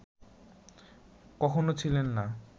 কখনও ছিলেন না